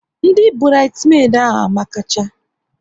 Ndị burides medi ahụ amakacha